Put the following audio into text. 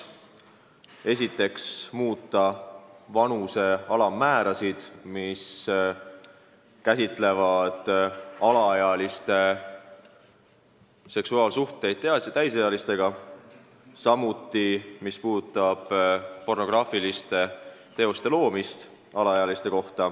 Esiteks, muuta vanuse alammäärasid, mis puudutavad alaealiste seksuaalsuhteid täisealistega.